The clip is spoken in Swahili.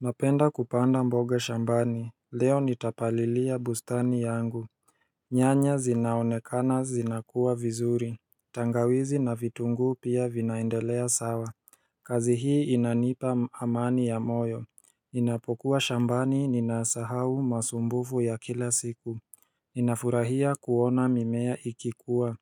Napenda kupanda mboga shambani, leo nitapalilia bustani yangu nyanya zinaonekana zinakuwa vizuri, tangawizi na vitungu pia vinaendelea sawa kazi hii inanipa, amani ya moyo Ninapokuwa shambani ninasahau masumbufu ya kila siku Ninafurahia kuona mimea ikikua